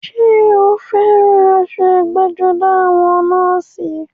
Ṣé o fẹ́ran aṣọ ẹgbẹ́-jọdá àwọn nọ́ọ̀sì?